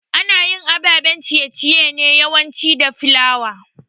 Anayin ababen ciye ciye ne yawanci da flour